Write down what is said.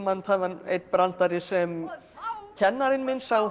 það var einn brandari sem kennarinn minn sagði okkur